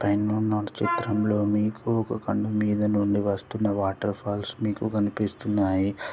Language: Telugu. పైనున్న చిత్రం లో మీకు ఒక కండు మీద నుండి వస్తున్న వాటర్ఫాల్స్ మీకు కనిపిస్తున్నాయి.